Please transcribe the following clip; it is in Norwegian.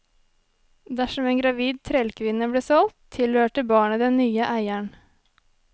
Dersom en gravid trellkvinne ble solgt, tilhørte barnet den nye eieren.